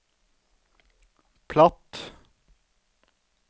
platt